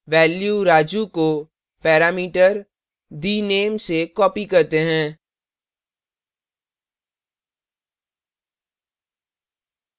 value raju को parameter the _ name से copied करते हैं